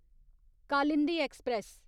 Kalindi express